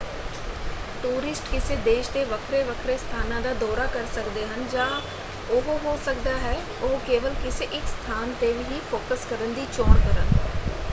Tourist ਕਿਸੇ ਦੇਸ਼ ਦੇ ਵੱਖਰੇ ਵੱਖਰੇ ਸਥਾਨਾਂ ਦਾ ਦੌਰਾ ਕਰ ਸਕਦੇ ਹਨ ਜਾਂ ਉਹ ਹੋ ਸਕਦਾ ਹੈ ਉਹ ਕੇਵਲ ਕਿਸੇ ਇੱਕ ਸਥਾਨ ‘ਤੇ ਹੀ ਫੋਕਸ ਕਰਨ ਦੀ ਚੋਣ ਕਰਨ।